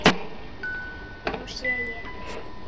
Nú sé ég eftir því.